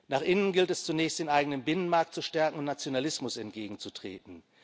Nach innen gilt es zunächst, den eigenen Binnenmarkt zu stärken und Nationalismus entgegenzutreten.